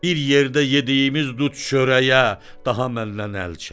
bir yerdə yediyimiz dud çörəyə, daha məndən əl çək.